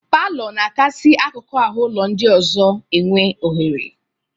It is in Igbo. Palọ na-akasị akụkụ ahụ ụlọ ndị ọzọ enwe ọhere.